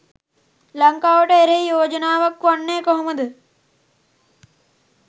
ලංකාවට එරෙහි යෝජනාවක් වෙන්නේ කොහොමද?